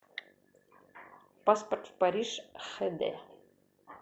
паспорт в париж хд